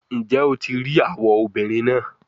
Njẹ o ti rii awọ obinrin naa?